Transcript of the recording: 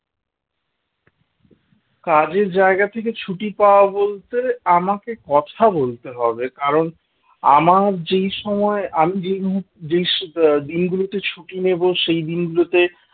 কাজের জায়গা থেকে ছুটি পাওয়া বলতে আমাকে কথা বলতে হবে কারণ আমার যেই সময় আমি যেই মুহূর্তে যেই আহ দিনগুলোতে ছুটি নেব সেই দিনগুলোতে